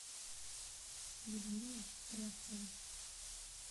людмилой рябцевой